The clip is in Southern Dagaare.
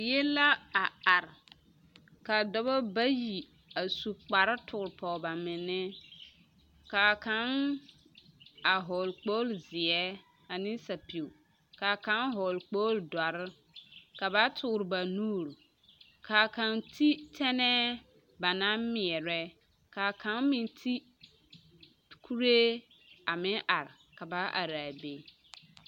Die la a are ka dɔbɔ bayi a su kpare tuuri pɔɡe ba minnne ka a kaŋ a hɔɔle kpoolezeɛ ane sapiɡi ka kaŋ hɔɔle kpoɡele dɔre ka ba tuuri ba nuuri ka kaŋ te tɛnɛɛ ba naŋ meɛrɛ ka a kaŋ meŋ te kuree a meŋ are ka ba are a be.